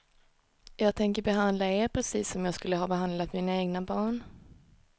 Jag tänker behandla er precis som jag skulle ha behandlat mina egna barn.